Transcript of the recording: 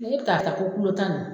N' e bɛ taa ta fo kulu tan na.